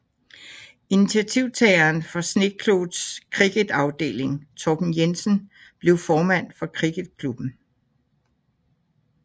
Initiativtageren for Schneekloths cricketafdeling Torben Jensen blev formand for cricketklubben